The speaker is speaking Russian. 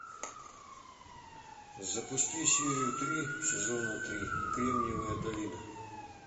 запусти серию три сезона три кремниевая долина